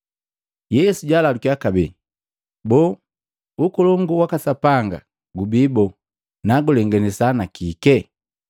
Yesu jaalalukiya kabee, “Boo, Ukolongu waka Sapanga gubii boo? Nagulenganisa na kike?